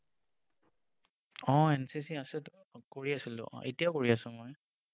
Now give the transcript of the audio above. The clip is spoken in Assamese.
আহ NCC আছেতো কৰি আছিলোঁ এতিয়াও কৰি আছোঁ মই।